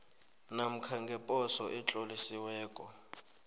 namkha ngeposo etlolisiweko